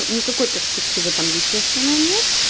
никакой перспективы там естественно нет